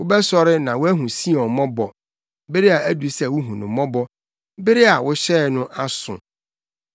Wobɛsɔre na woahu Sion mmɔbɔ; bere adu sɛ wuhu no mmɔbɔ; bere a wohyɛe no aso.